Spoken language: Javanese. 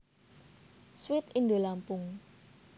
Sweet Indolampung